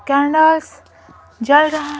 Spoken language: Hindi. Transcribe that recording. कैंडल्स जल रहा--